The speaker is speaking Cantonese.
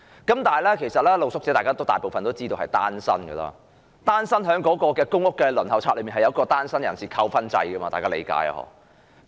不過，眾所周知，大部分露宿者也是單身人士，而公屋輪候冊設有單身人士扣分制，大家也知道吧。